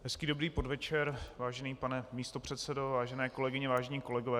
Hezký dobrý podvečer, vážený pane místopředsedo, vážené kolegyně, vážení kolegové.